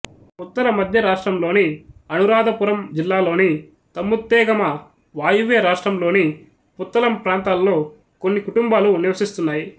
ఉత్తర మధ్య రాష్ట్రంలోని అనురాధపురం జిల్లాలోని తముత్తేగమ వాయువ్య రాష్ట్రంలోని పుత్తళం ప్రాంతాల్లో కొన్ని కుటుంబాలు నివసిస్తున్నాయి